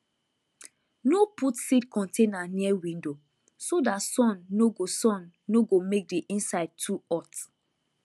no put seed container near window so that sun no go sun no go make the inside too hot